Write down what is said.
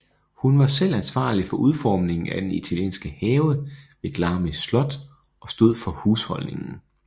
Hun var selv ansvarlig for udformningen af den italienske have ved Glamis Slot og stod for husholdningen